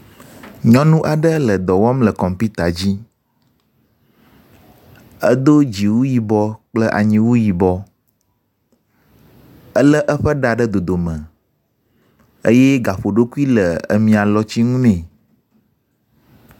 Nyɔnu aɖe le dɔ wɔm le kɔmpita dzi, edo dziwui yibɔ kple anyiwu yibɔ. Elé eƒe ɖa ɖe dodome eye gaƒoɖokui le emia lɔtinu ne.